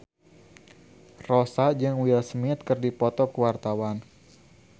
Rossa jeung Will Smith keur dipoto ku wartawan